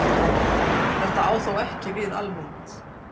Þetta á þó ekki við almennt.